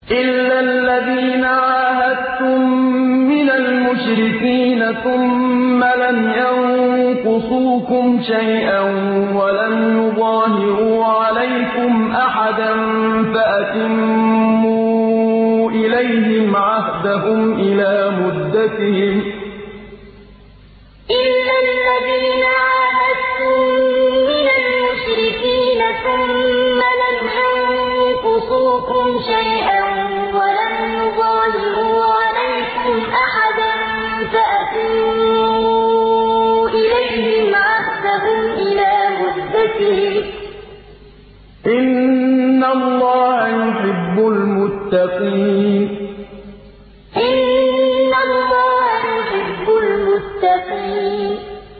إِلَّا الَّذِينَ عَاهَدتُّم مِّنَ الْمُشْرِكِينَ ثُمَّ لَمْ يَنقُصُوكُمْ شَيْئًا وَلَمْ يُظَاهِرُوا عَلَيْكُمْ أَحَدًا فَأَتِمُّوا إِلَيْهِمْ عَهْدَهُمْ إِلَىٰ مُدَّتِهِمْ ۚ إِنَّ اللَّهَ يُحِبُّ الْمُتَّقِينَ إِلَّا الَّذِينَ عَاهَدتُّم مِّنَ الْمُشْرِكِينَ ثُمَّ لَمْ يَنقُصُوكُمْ شَيْئًا وَلَمْ يُظَاهِرُوا عَلَيْكُمْ أَحَدًا فَأَتِمُّوا إِلَيْهِمْ عَهْدَهُمْ إِلَىٰ مُدَّتِهِمْ ۚ إِنَّ اللَّهَ يُحِبُّ الْمُتَّقِينَ